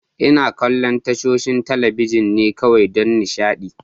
Ina kallon tashoshin talabijin ne kawai don nishaɗi.